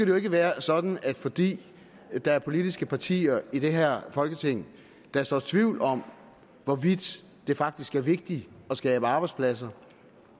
jo ikke være sådan at fordi der er politiske partier i det her folketing der sår tvivl om hvorvidt det faktisk er vigtigt at skabe arbejdspladser